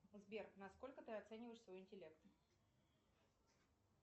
сбер на сколько ты оцениваешь свой интеллект